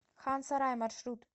хан сарай маршрут